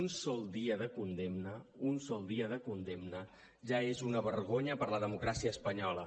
un sol dia de condemna un sol dia de condemna ja és una vergonya per a la democràcia espanyola